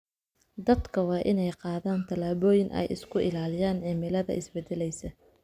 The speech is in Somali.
Dadka waa inay qaadaan tallaabooyin ay isku ilaaliyaan cimilada isbeddelaysa.